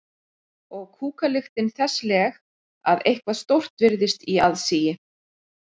Og kúkalyktin þessleg að eitthvað stórt virtist í aðsigi.